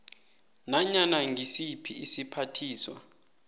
nanyana ngisiphi isiphathiswa